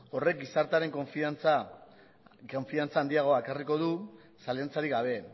horrek gizartearen konfidantza handiagoa ekarriko du zalantzarik gabe